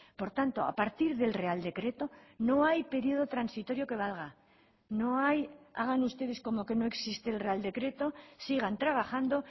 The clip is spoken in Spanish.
por tanto a partir del real decreto no hay periodo transitorio que valga no hay hagan ustedes como que no existe el real decreto sigan trabajando